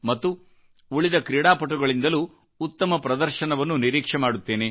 ಮತ್ತು ಉಳಿದ ಕ್ರೀಡಾಪಟುಗಳಿಂದಲೂ ಉತ್ತಮ ಪ್ರದರ್ಶನವನ್ನು ನಿರೀಕ್ಷೆ ಮಾಡುತ್ತೇನೆ